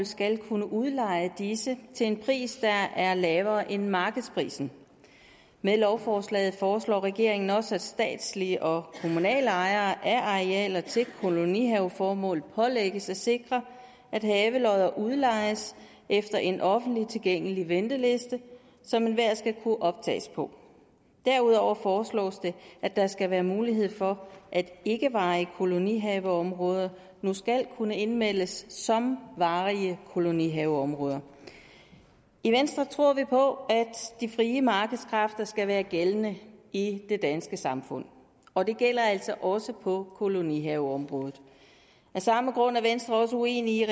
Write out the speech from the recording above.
skal kunne udleje disse til en pris der er lavere end markedsprisen med lovforslaget foreslår regeringen også at statslige og kommunale ejere af arealer til kolonihaveformål pålægges at sikre at havelodder udlejes efter en offentligt tilgængelig venteliste som enhver skal kunne optages på derudover foreslås det at der skal være mulighed for at ikkevarige kolonihaveområder nu skal kunne indmeldes som varige kolonihaveområder i venstre tror vi på de frie markedskræfter de skal være gældende i det danske samfund og det gælder altså også på kolonihaveområdet af samme grund er venstre også uenig